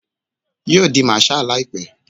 Yo di marshal laipe